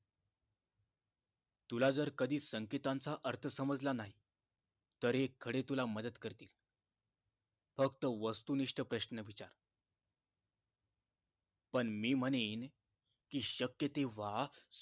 तुला जर कधी संकेतांचा अर्थ समजला नाही तर हे खडे तुला मदत करतील फक्त वस्तु निष्ठ प्रश्न विचार पण मी म्हणेन की शक्य तेंव्हा